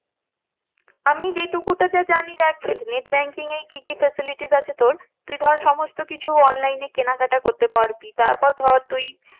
আমি যে টুকুটা যা জানি net banking এ কি কি facilities আছে তোর তুই ধর সমস্ত কিছু online এ কেনাকাটা করতে পারবি তারপর ধর তুই